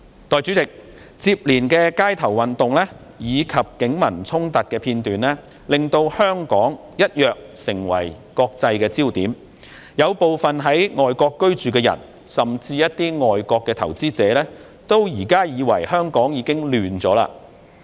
代理主席，接連的街頭運動及警民衝突的片段，令香港一躍成為國際的焦點，有部分在外國居住的人，甚至一些外國投資者認為現時香港已亂起來。